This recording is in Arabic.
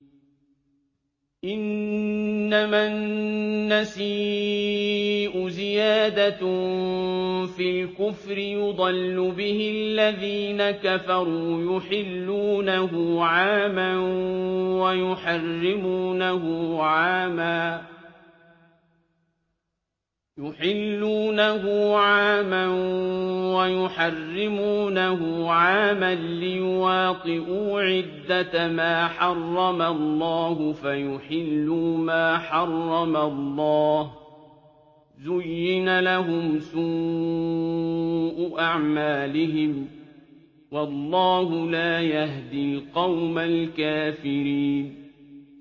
إِنَّمَا النَّسِيءُ زِيَادَةٌ فِي الْكُفْرِ ۖ يُضَلُّ بِهِ الَّذِينَ كَفَرُوا يُحِلُّونَهُ عَامًا وَيُحَرِّمُونَهُ عَامًا لِّيُوَاطِئُوا عِدَّةَ مَا حَرَّمَ اللَّهُ فَيُحِلُّوا مَا حَرَّمَ اللَّهُ ۚ زُيِّنَ لَهُمْ سُوءُ أَعْمَالِهِمْ ۗ وَاللَّهُ لَا يَهْدِي الْقَوْمَ الْكَافِرِينَ